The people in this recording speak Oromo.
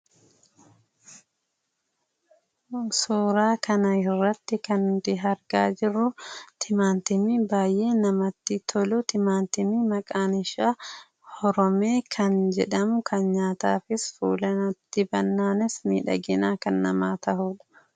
Suuraa kana irratti kan nuti argaa jirru timaantimii baay'ee namatti tolu, timaantimii maqaan isaa Horomee kan jedhamu kan nyaataafis fuulatti dibannaanis miidhagina kan namaa ta'uudha.